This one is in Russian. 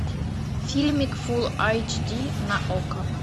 фильмик фул айч ди на окко